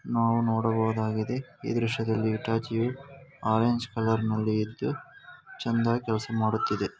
ನಾವು ನೋಡಬಹುದಾಗಿದೆ ಈ ದೃಶ್ಯದಲ್ಲಿ ಇಟಚಿಯು ಆರೆಂಜ್ ಕಲರ್ನ ಲ್ಲಿದ್ದು ಚಂದಾ ಕೆಲಸ ಮಾಡುತ್ತಿದೆ .